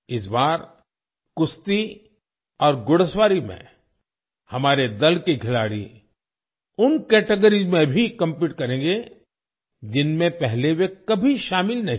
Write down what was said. इस बार कुश्ती और घुड़सवारी में हमारे दल के खिलाड़ी उन कैटेगरीज में भी कॉम्पीट करेंगे जिनमें पहले वे कभी शामिल नहीं रहे